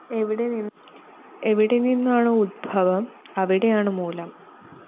എവിടെ നിന്നാണൊ ഉത്ഭവം അവിടെയാണ് മൂലം